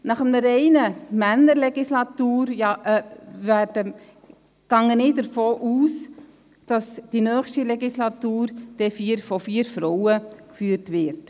Angesichts dieser reinen Männer-Legislatur gehe ich davon aus, dass die nächste Legislatur von vier Frauen geführt werden wird.